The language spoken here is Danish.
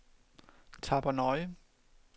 Tappernøje